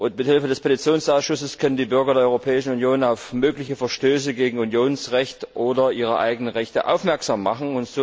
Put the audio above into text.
Mithilfe des Petitionsausschusses können die Bürger der Europäischen Union auf mögliche Verstöße gegen Unionsrecht oder ihre eigenen Rechte aufmerksam machen.